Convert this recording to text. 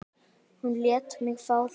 Hún lét mig fá það.